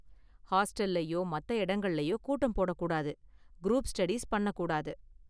ஹாஸ்டல்லயோ, மத்த இடங்கள்லயோ கூட்டம் போடக் கூடாது, குரூப் ஸ்டடீஸ் பண்ணக் கூடாது.